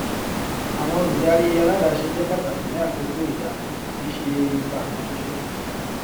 àwọn olùdarí aládàáse jẹ pàtàkì ní àkókò ìdààmú kì í ṣe ìpá kan ṣoṣo